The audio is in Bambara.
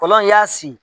Fɔlɔ i y'a si